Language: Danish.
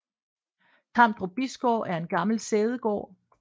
Tamdrup Bisgård er en gammel sædegård